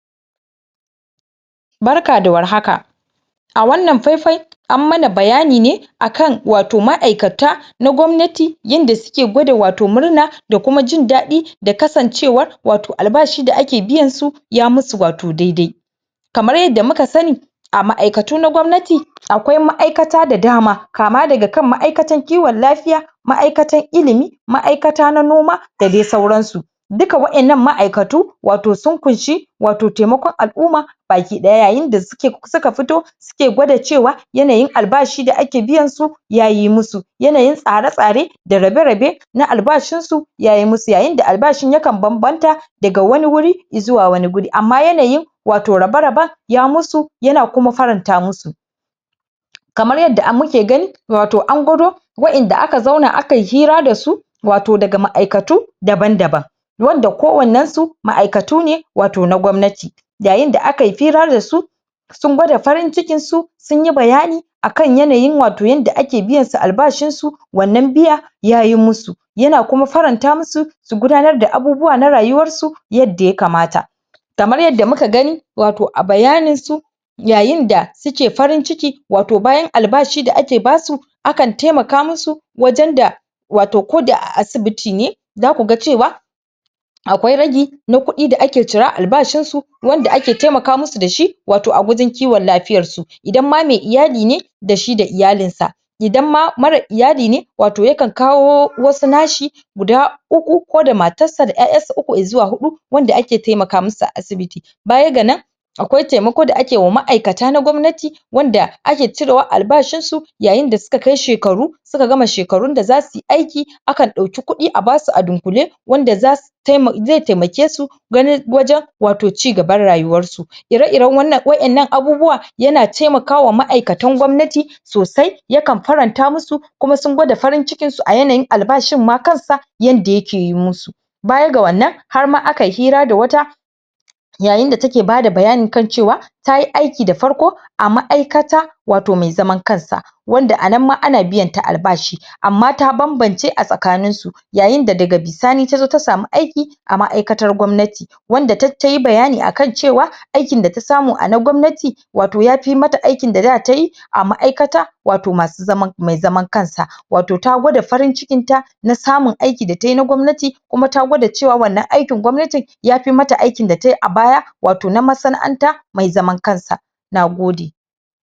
Barka da war haka, a wannan fai-fai an mana bayani ne akan wato ma'aikata na gwamnati yanda suke gwada wato murna da kuma jindaɗi da kasancewar wato albashi da ake biyan su ya musu wato dai-dai. Kamar yadda muka sani a ma'aikatu na gwamnati akwai ma'aikata da dama kama daga kan ma'aikatan kiwon lafiya, ma'aikatan ilimi, ma'aikata na noma da dai sauransu. Duka wa'innan ma'aikatu wato sun kunshi wato taimakon al'uma baki ɗaya. Yayinda suke suka fito suke gwada cewa yanayin albashi da ake biyansu yayi musu yanayin tsare-tsare da rabe-rabe na albashin su yayi musu, yayinda albashin yakan banbanta daga wani wuri izuwa wani guri amma yanayin wato rabe-raban ya musu yana kuma faranta musu. Kamar yadda muke gani wato an gwado wa'inda aka zauna akayi hira da su wato daga ma'aikatu daban-daban wanda kowannan su ma'aikatu ne wato na gwamnati. Yayinda akayi fira dasu sun gwada farin cikin su sunyi bayani akan yanayin wato yanda ake biyansu albashin su wannan biya yayi musu, yana kuma faranta musu su gudanar da abubuwa na rayuwar su yadda ya kamanata. Kamar yadda muka gani wato a bayanin su yayinda suke farin ciki wato bayan albashi da ake basu akan taimaka musu wajan da wato koda a asibiti ne zaku ga cewa akwai ragi na kuɗi da ake cira a albashin su wanda ake taimaka musu da shi wato a wajin kiwon lafiyar su, idan ma mai iyali ne da shi da iyalin sa idan ma mara iyali ne wato yakan kawo wasu nashi guda uku ko da matar da ƴaƴansa uku izuwa huɗu wanda ake taimaka musu a asibiti. Baya ga nan akwai taimako da ake wa ma'aikata na gwamnati wanda ake cirewa a albashin su yayinda suka kai shekaru suka gama shekarun da za suyi aiki akan ɗauki kuɗi a basu a dunƙule wanda zasu taima ze taimake su ganin wajan wato ci gaban rayuwan su, ire-iren wannan wa'innan abubuwa yana taimakawa ma'ikatan gwamnati sosai yakan faranta musu kuma sun gwada farin cikin su a yanayin albashin ma kansa yanda yake yi musu. Baya ga wannan har ma akayi hira da wata yayinda take bada bayani kan cewa tayi aki da farko a ma'aikata wato mai zaman kansa wanda anan ma ana biyanta albashi, amma ta banbance a tsakanin su yayinda daga bisani tazo ta samu aiki a ma'aikatar gwamnati wanda tayi bayani akan cewa aikin data samu a na gwamnati wato ya fi mata aikin da daa tayi a ma'aikata wato masu zaman mai zaman kansa wato ta gwada farin cikin ta na samun aiki da tayi na gwamnati kuma ta gwada cewa wannan aikin gwamnatin yafi mata aikin da tayi a baya wato na masana'anta mai zaman kansa, nagode.